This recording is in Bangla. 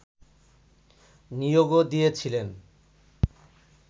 নিয়োগও দিয়েছিলেন